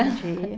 Bom dia.